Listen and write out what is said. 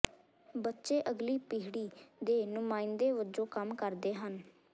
ਬੱਚੇ ਅਗਲੀ ਪੀੜ੍ਹੀ ਦੇ ਨੁਮਾਇੰਦੇ ਵਜੋਂ ਕੰਮ ਕਰਦੇ ਹਨ